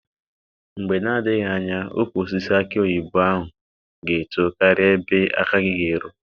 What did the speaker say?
Mgbe na-adịghị anya ukwu osisi aki oyibo ahụ ga-eto karịa ebe aka gị ga-eru.